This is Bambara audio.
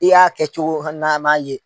I y'a kɛ cogo hali n'a m'a ye.